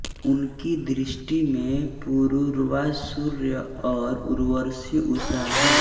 उनकी दृष्टि में पुरूरवा सूर्य और उर्वशी उषा है